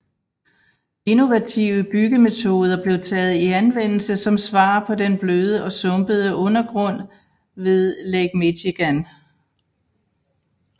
Innovative byggemetoder blev taget i anvendelse som svar på den bløde og sumpede undergrund ved Lake Michigan